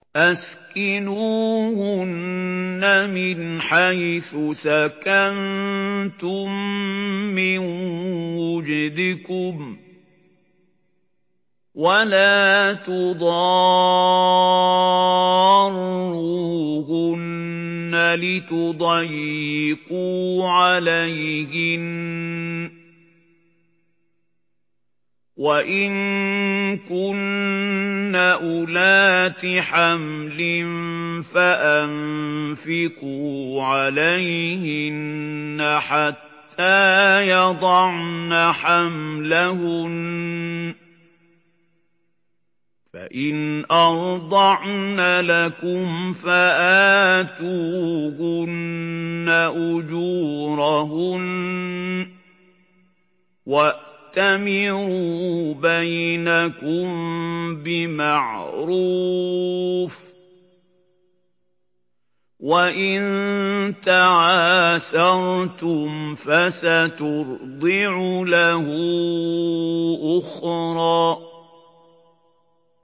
أَسْكِنُوهُنَّ مِنْ حَيْثُ سَكَنتُم مِّن وُجْدِكُمْ وَلَا تُضَارُّوهُنَّ لِتُضَيِّقُوا عَلَيْهِنَّ ۚ وَإِن كُنَّ أُولَاتِ حَمْلٍ فَأَنفِقُوا عَلَيْهِنَّ حَتَّىٰ يَضَعْنَ حَمْلَهُنَّ ۚ فَإِنْ أَرْضَعْنَ لَكُمْ فَآتُوهُنَّ أُجُورَهُنَّ ۖ وَأْتَمِرُوا بَيْنَكُم بِمَعْرُوفٍ ۖ وَإِن تَعَاسَرْتُمْ فَسَتُرْضِعُ لَهُ أُخْرَىٰ